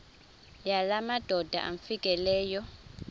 yala madoda amfikeleyo